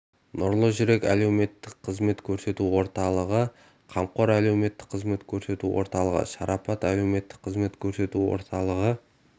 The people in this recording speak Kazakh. нұрлы жүрек әлеуметтік қызмет көрсету орталығы қамқор әлеуметтік қызмет көрсету орталығы шарапат әлеуметтік қызмет көрсету орталығы